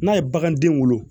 N'a ye baganden wolo